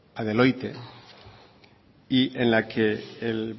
la deloitte y en la que